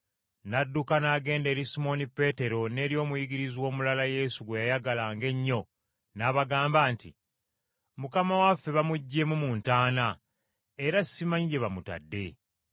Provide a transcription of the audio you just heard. N’adduka n’agenda eri Simooni Peetero n’eri omuyigirizwa omulala Yesu gwe yayagalanga ennyo n’abagamba nti, “Mukama waffe bamuggyeemu mu ntaana, era simanyi gye bamutadde!”